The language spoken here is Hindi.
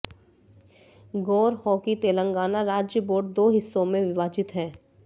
गौर हो कि तेलंगाना राज्य बोर्ड दो हिस्सों में विभाजित है